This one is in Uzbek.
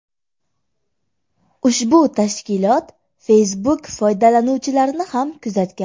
Ushbu tashkilot Facebook foydalanuvchilarini ham kuzatgan.